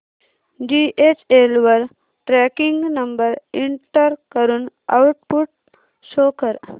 DHL वर tracking number enter करून output show कर